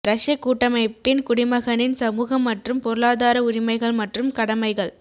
ரஷ்ய கூட்டமைப்பின் குடிமகனின் சமூக மற்றும் பொருளாதார உரிமைகள் மற்றும் கடமைகள்